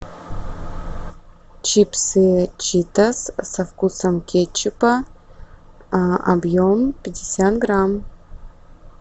чипсы читос со вкусом кетчупа объем пятьдесят грамм